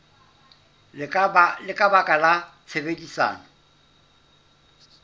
le ka baka la tshebedisano